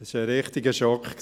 Es war ein richtiger Schock.